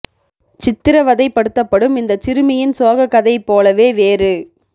சித்திரவதைப்படுத்தப்படும் இந்தச் சிறுமியின் சோகக் கதை போலவே வேறு